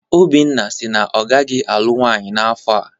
Obinna si na ọ gaghị alụ nwaanyị n'afọ a.